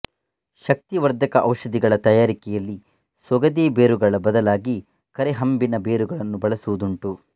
ಶಕ್ತಿವರ್ಧಕ ಔಷಧಿಗಳ ತಯಾರಿಕೆಯಲ್ಲಿ ಸೊಗದೆ ಬೇರುಗಳ ಬದಲಾಗಿ ಕರೇಹಂಬಿನ ಬೇರುಗಳನ್ನು ಬಳಸುವುದುಂಟು